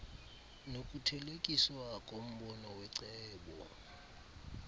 nokuthelekiswa kombono wecebo